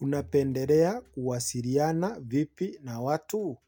Unapendelea kuwasiliana vipi na watu?